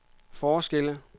forskelle